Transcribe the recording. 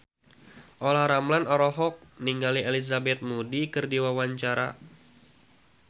Olla Ramlan olohok ningali Elizabeth Moody keur diwawancara